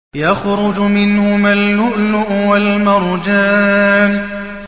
يَخْرُجُ مِنْهُمَا اللُّؤْلُؤُ وَالْمَرْجَانُ